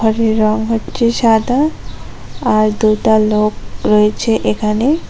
বাড়ির রঙ হচ্ছে সাদা আর দুইটা লোক রয়েছে এখানে।